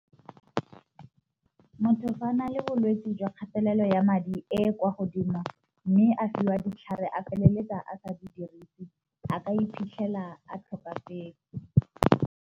Motho fa a na le bolwetsi jwa kgatelelo ya madi e kwa godimo, mme a fiwa ditlhare a feleletsa a tsa di dirisi a ka iphitlhela a tlhokafetse.